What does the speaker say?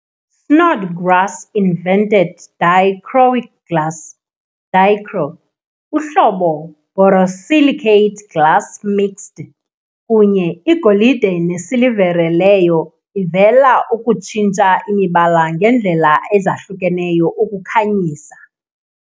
Snodgrass invented Dichroic glass, Dichro, uhlobo borosilicate glass mixed kunye igolide nesilivere leyo ivela ukutshintsha imibala ngendlela ezahlukeneyo ukukhanyisa.